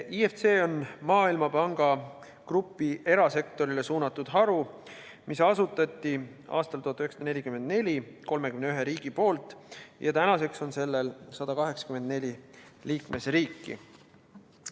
IFC on Maailmapanga grupi erasektorile suunatud haru, mille asutasid 1944. aastal 31 riiki ja millel tänaseks on 184 liikmesriiki.